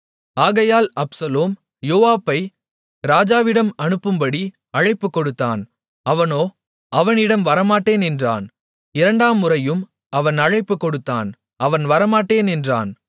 ஆகையால் அப்சலோம் யோவாபை ராஜாவிடம் அனுப்பும்படி அழைப்பு கொடுத்தான் அவனோ அவனிடம் வரமாட்டேன் என்றான் இரண்டாம்முறையும் அவன் அழைப்பு கொடுத்தான் அவன் வரமாட்டேன் என்றான்